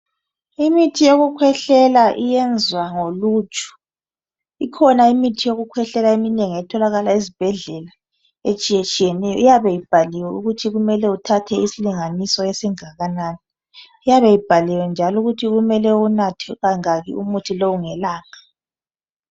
imithi yokukhwehlela iyenzwa ngoluju ikhona imithi yokukwehlela eminengi etholakala ezibhedlela etshiyeneyo iyabe ibhaliwe ukuthi kumeele uthathe isilinganiso esinganani kuyabe kubhaliwe futhi ukuthi kumele uwunathe kangaki umuthi lowo ngelanga